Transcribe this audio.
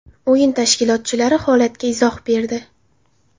O‘yin tashkilotchilari holatga izoh berdi.